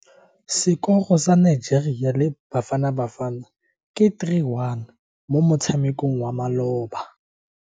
Sekoro sa Nigeria le Bafanabafana ke 3-1 mo motshamekong wa maloba.